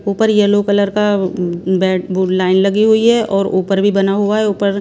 ऊपर yellow colour का bed वो लाइन लगी हुई है और ऊपर भी बना हुआ है ऊपर--